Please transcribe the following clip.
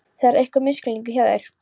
Þetta er einhver misskilningur hjá þér!